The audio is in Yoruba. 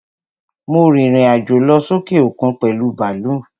Mo rìrìn àjò lọ sókè òkun pèlú bàlúù.